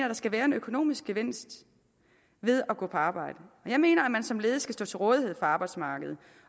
der skal være en økonomisk gevinst ved at gå på arbejde og jeg mener at man som ledig skal stå til rådighed for arbejdsmarkedet